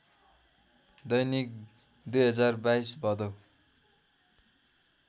दैनिक २०२२ भदौ